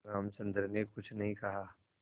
रामचंद्र ने कुछ नहीं कहा